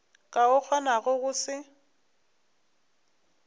ka o kgonago go se